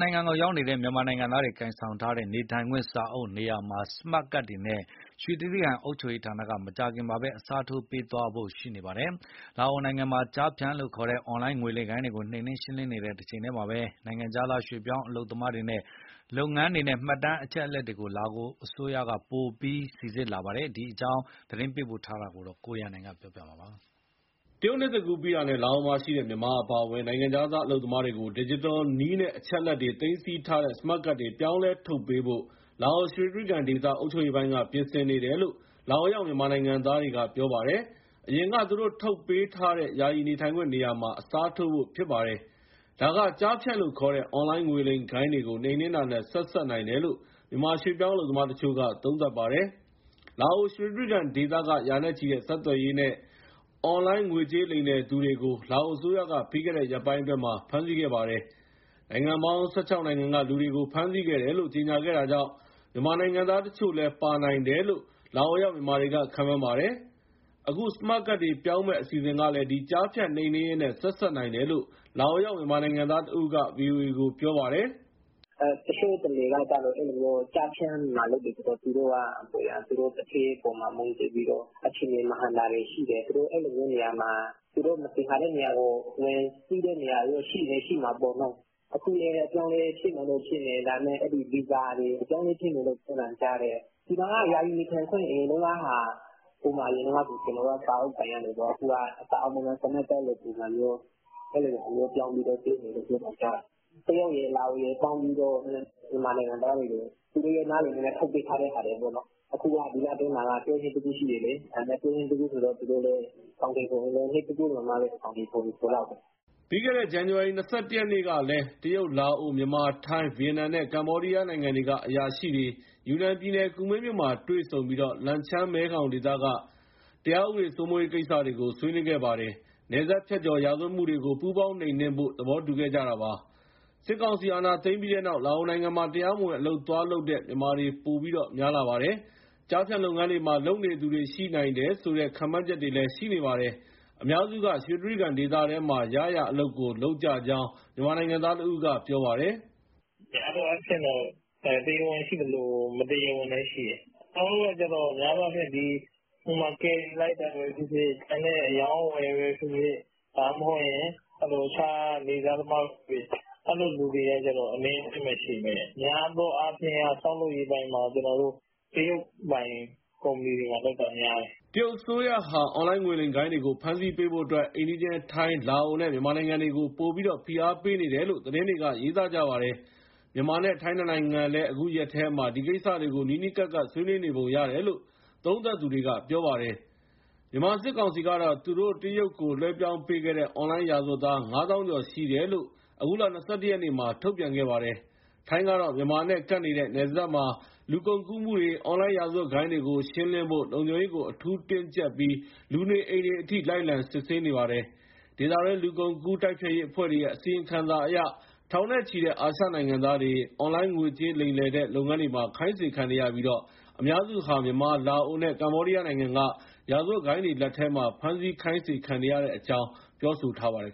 နိုင်ငံကိုရောက်နေတဲ့ မြန်မာနိုင်ငံသားတွေ ကိုင်ဆောင်ထားတဲ့ နေထိုင်ခွင့်စာအုပ် နေရာမှာ စမတ်ကတ်တွေနဲ့ ရွှေတြိဂံအုပ်ချုပ်ရေးဌာနက မကြာခင်မှာ အစားထိုးပေးသွားဖို့ ရှိနေပါတယ်။ လာအိုနိုင်ငံမှာ ကျားဖြန့်လို့ခေါ်တဲ့ အွန်လိုင်းငွေလိမ်ဂိုဏ်းတွေကို နှိမ်နင်းရှင်းလင်းနေတဲ့ တချိန်တည်းမှာ နိုင်ငံခြားသား ရွေ့ပြောင်းအလုပ်သမားတွေနဲ့ လုပ်ငန်းတွေနဲ့ မှတ်တမ်းအချက်အလက်တွေကို လာအိုအစိုးရက ပိုပြီး စီစစ်လာတာပါ။ ဒီအကြောင်း ရန်ကုန်က သတင်းပေးပို့ထားပါတယ်။ တရုတ်နှစ်သစ်ကူး ပြီးတာနဲ့ လာအိုမှာရှိတဲ့ မြန်မာအပါအဝင် နိုင်ငံခြားသား အလုပ်သမားတွေကို ဒီဂျစ်တယ်နည်းနဲ့ အချက်အလက်တွေ သိမ်းဆည်းထားတဲ့ စမတ်ကတ်တွေ ပြောင်းလဲထုတ်ပေးဖို့ လာအို ရွှေတြိဂံဒေသ အုပ်ချုပ်ရေးပိုင်းက ပြင်ဆင်နေတယ်လို့ လာအိုရောက် မြန်မာနိုင်ငံသားတွေက ပြောပါတယ်။ အရင်က သူတို့ထုတ်ပေးထားတဲ့ ယာယီနေထိုင်ခွင့်နေရာမှာ အစားထိုးဖို့ ဖြစ်ပါတယ်။ ဒါက ကျားဖြန့်လို့ခေါ်တဲ့ အွန်လိုင်း ငွေလိမ်ဂိုဏ်းတွေကို နှိမ်နင်းတာနဲ့ ဆက်စပ်နိုင်တယ်လို့ မြန်မာရွှေ့ပြောင်းအလုပ်သမားတချို့က သုံးသပ်ပါတယ်။ လာအို ရွှေတြိဂံဒေသက ရာနဲ့ချီတဲ့ ဆက်သွယ်ရေးနဲ့ အွန်လိုင်းငွေကြေး လိမ်လည်သူတွေကို လာအိုအစိုးရက ပြီးခဲ့တဲ့ ရက်ပိုင်းအတွင်းမှာ ဖမ်းဆီးခဲ့ပါတယ်။ နိုင်ငံပေါင်း ၁၆ နိုင်ငံက လူတွေကို ဖမ်းဆီးခဲ့တယ်လို့ ကြေညာခဲ့တာကြောင့် မြန်မာနိုင်ငံသားတွေ တချို့လည်း ပါနိုင်တယ်လို့ လာအိုရောက် မြန်မာတွေက ခန့်မှန်းပါတယ်။ အခု စမတ်ကတ်တွေ ပြောင်းမယ့် အစီအစဉ်ကလည်း ဒီကျားဖြန့် နှိမ်နင်းရေးနဲ့ ဆက်စပ်နိုင်တယ်လို့ လာအိုရောက် မြန်မာနိုင်ငံသားတဦးက ဗွီအိုအေကို ပြောပါတယ်။ "တချို့တလေက ကျားဖြန့်မှာလုပ်တယ်ဆိုတော့ သူတို့က သူတို့သူဌေးအပေါ်မှာ မူတည်ပြီးတော့ အခြေအနေ မဟန်တာတွေရှိတယ်။ သူတို့ အဲလိုမျိုးနေရာမှာ သူတို့ဝင်စီးတဲ့နေရာတွေ ရှိချင်လည်း ရှိမှာပေါ့။ အခုလည်း အပြောင်းအလဲ ဖြစ်မယ်လို့ထင်တယ်၊ ဗီဇာတွေ အပြောင်းအလဲဖြစ်မယ် ကြားတယ်။ ဒီမှာက ယာယီနေထိုင်ခွင့် အရင်တုန်းကဟာက အရင်က စာအုပ်ကိုင်ရတယ်ပေါ့။ အခုက စမတ်ကတ်လိုပုံစံမျိုး ပေးမယ်ကြားတယ်။ တရုတ်ရယ်၊ လာအိုရယ် ပေါင်းပြီးတော့ မြန်မာနိုင်ငံသားတွေကို သူတို့နားလည်မှုနဲ့ ထုတ်ပေးထားတဲ့ဟာတွေပေါ့။ ဒီလထဲမှာက တရုတ်နှစ်သစ်ကူးရှိတယ် ဆိုတော့ သူတို့လည်း အကောင်အထည် ဖော်မယ်ဆိုရင် နှစ်သစ်ကူးအလွန်မှပဲ အကောင်အထည် ဖော်လောက်မယ်။" ပြီးခဲ့တဲ့ ဇန်နဝါရီလ ၂၁ ရက်ကလည်း တရုတ်၊ လာအို၊ မြန်မာ၊ ထိုင်း၊ ဗီယက်နမ်နဲ့ ကမ္ဘောဒီယားနိုင်ငံတွေက အရာရှိတွေ ယူနန်ပြည်နယ်၊ ကူမင်းမြို့မှာတွေ့ဆုံပြီး လန်ချန်း-မဲခေါင်ဒေသက တရားဥပဒေ စိုးမိုးရေးကိစ္စတွေကို ဆွေးနွေးခဲ့ပါတယ်။ နယ်စပ်ဖြတ်ကျော် ရာဇဝတ်မှုတွေကို ပူးပေါင်းနှိမ်နင်းဖို့ သဘောတူခဲ့ကြတာပါ။ စစ်ကောင်စီအာဏာသိမ်းပြီးတဲ့နောက် လာအိုနိုင်ငံမှာ တရားမဝင် အလုပ်သွားလုပ်တဲ့ မြန်မာတွေ ပိုပြီး များလာပါတယ်။ ကျားဖြန့်လုပ်ငန်းတွေမှာ လုပ်နေသူတွေ ရှိနိုင်ဆိုတဲ့ ခန့်မှန်းချက်တွေလည်း ရှိနေပါတယ်။ အများစုက ရွှေတြိဂံဒေသထဲမှာ ရရာအလုပ်ကို လုပ်ကြကြောင်း မြန်မာနိုင်ငံသားတဦးက ပြောပါတယ်။ "များသောအားဖြင့်တော့ တရားဝင်ရှိသလို၊ တရားမဝင်လည်း ရှိတယ်။ ကျနော်တို့က များသောအားဖြင့် ဥပမာ ကယ်ရီလိုက်တာပဲ ဖြစ်ဖြစ်၊ အရောင်းအဝယ်ပဲ ဖြစ်ဖြစ်၊ ဒါမှမဟုတ် အခြား နေ့စားသမားတို့ အဲလိုလူတွေက အနည်းအကျဉ်းပဲရှိမယ်။ များသောအားဖြင့်က ဆောက်လုပ်ရေးအပိုင်းမှာ ကျနော်တို့ တရုတ်ပိုင် ကုမ္ပဏီတွေမှာလုပ်တာ များတယ်။" တရုတ်အစိုးရဟာ အွန်လိုင်းငွေလိမ်ဂိုဏ်းတွေကို ဖမ်းဆီးပေးဖို့အတွက် အိမ်နီးချင်း ထိုင်း၊ လာအိုနဲ့ မြန်မာနိုင်ငံကို ပိုပြီး ဖိအားပေးနေတယ်လို့ သတင်းတွေက ရေးသားပါတယ်။ မြန်မာနဲ့ ထိုင်း နှစ်နိုင်ငံလည်း အခုရက်ထဲမှာ ဒီကိစ္စတွေကို နီးနီးကပ်ကပ် ဆွေးနွေးနေပုံရတယ်လို့ သုံးသပ်သူတွေက ပြောပါတယ်။ မြန်မာစစ်ကောင်စီကတော့ သူတို့ တရုတ်ကို လွှဲပြောင်းပေးခဲ့တဲ့ အွန်လိုင်းရာဇဝတ်သား ၅၀,၀၀၀ ကျော်ရှိတယ်လို့ အခုလ ၂၁ရက်မှာ ထုတ်ပြန်ခဲ့ပါတယ်။ ထိုင်းကတော့ မြန်မာနဲ့ကပ်နေတဲ့ နယ်စပ်မှာ လူကုန်ကူးမှုတွေ၊ အွန်လိုင်း ရာဇဝတ်ဂိုဏ်းတွေကို ရှင်းလင်းဖို့ လုံခြုံရေးကို အထူး တင်းကြပ်ပြီး လူနေအိမ်တွေအထိ လိုက်လံစစ်ဆေးနေပါတယ်။ ဒေသတွင်း လူကုန်ကူးမှုတိုက်ဖျက်ရေးအဖွဲ့တွေရဲ့ အစီရင်ခံစာအရ ထောင်နဲ့ချီတဲ့ အာရှနိုင်ငံသားတွေ အွန်လိုင်းငွေကြေးလိမ်လည်တဲ့ လုပ်ငန်းတွေမှာ ခိုင်းစေခံနေရပြီး အများစုဟာ မြန်မာ၊ လာအိုနဲ့ ကမ္ဘောဒီးယားနိုင်ငံက ရာဇဝတ်ဂိုဏ်းတွေလက်ထဲမှာ ဖမ်းဆီးခိုင်းစေခံနေရတဲ့အကြောင်း ပြောဆိုထားပါတယ်